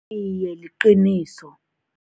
Iye, liqiniso.